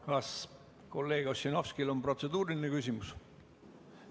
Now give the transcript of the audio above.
Kas kolleeg Ossinovskil on protseduuriline küsimus?